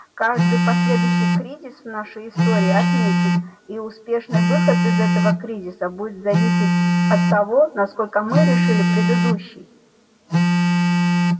каждый последующий кризис в нашей истории отмечен и успешный выход из этого кризиса будет зависеть от того насколько мы решили предыдущий